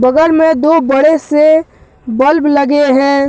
बगल में दो बड़े से बल्ब लगे हैं।